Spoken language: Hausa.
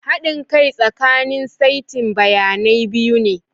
Haɗin kai tsakanin saitin bayanai biyu ne.